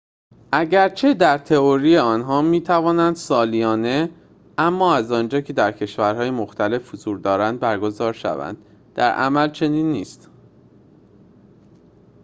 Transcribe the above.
اگرچه در تئوری آنها می توانند سالانه اما از آنجا که در کشورهای مختلف حضور دارند برگزار شوند، در عمل چنین نیست